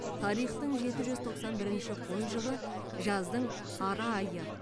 тарихтың жеті жүз тоқсан бірінші қой жылы жаздың ара айы